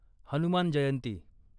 Hanuman Jayanti